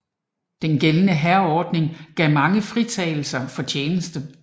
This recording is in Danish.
Den gældende hærordning gav mange fritagelse for tjeneste